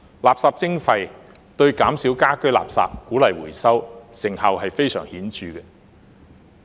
垃圾徵費對減少家居垃圾、鼓勵回收，成效非常顯著。